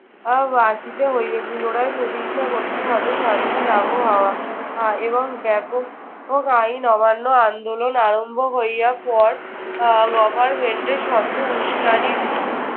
আহ আসিতে হইবে। পুনরায় প্রতিষ্ঠা করতে হবে শান্তির আবহাওয়া আহ এবং ব্যাপক হোক আইন অমান্য আন্দোলন আরম্ভ করিবার পর আহ government এর শত উস্কানির